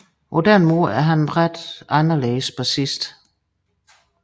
På den måde er han en ret anderledes bassist